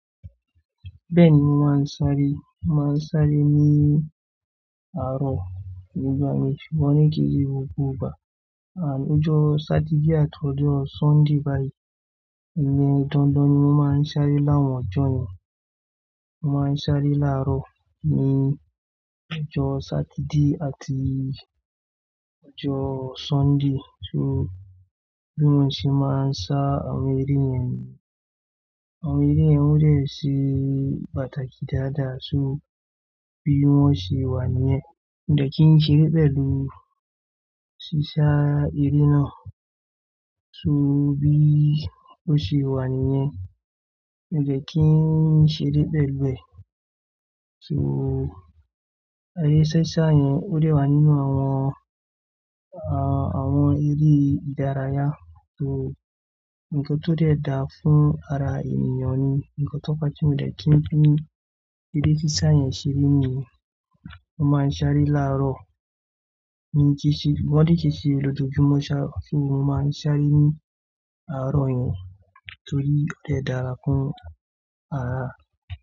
Bẹ́ẹ̀ni mo máa ń sáré. Mo máa ń sáré ní àárọ̀ nígbà mìíràn ṣùgbọ́n ní kìí ṣe gbogbo ìgbà. À ọjọ́ Sátidé àti ọjọ́ Sọ́ndí báyìí. Dandan ni mo máa ń sáré láwọn ọjọ́ yẹn. Mo máa ń sáré láàárọ̀ ní ọjọ́ Sátidé àti ọjọ́ Sọ́nde. So bí wọ́n ṣe máa ń sá àwọn eré yẹn. Àwọn eré yẹn ó dẹ̀ ṣé pàtàkì dáadáa. So bí wọ́n ṣe wà níyẹn, òdẹ kín ṣeré pẹ̀lú si sá eré náà. So bí ó ṣe wà níyẹn, òdẹ kín ṣeré pẹ̀lú rẹ̀. So are sísá yẹn ó dẹ̀ wà nínú àwọn, àwọn eré ìdárayá. So nǹkan tó dẹ̀ dáa fún ara ènìyàn ni, nǹkan tó pa tí òdẹ kín fi eré sísá yẹn ṣeré ni. Mo máa ń sáré láàárọ̀ ní ki sé, wọ́n ò ní kisé lọ́jọ́júmọ́ ṣá, kí ni mo máa ń sáré ní àárọ̀ yẹn torí ó dẹ̀ dára fún ara.